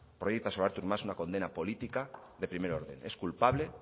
proyecta sobre artur mas una condena política de primer orden es culpable